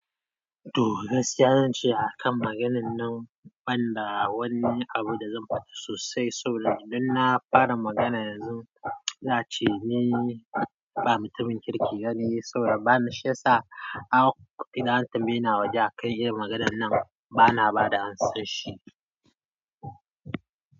To gaskiya zance a kan maganan nan, ban da wani abu da zan faɗa sosai. Saboda idan na fara magana yanzu, za'a ce ni ba mutumin kirki bane so bani shiyasa an kwa beni an tambayeni awaje akan maganar na bana bada amsar shi.